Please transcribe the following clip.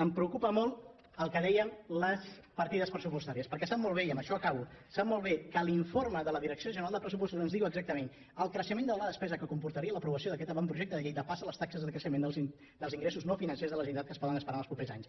em preocupa molt el que en dèiem les partides pressupostàries perquè sap molt bé i amb això acabo que l’informe de la direcció general de pressupostos ens diu exactament el creixement de la despesa que comportaria l’aprovació d’aquest avantprojecte de llei depassa les taxes de creixement dels ingressos no financers de la generalitat que es poden esperar en els propers anys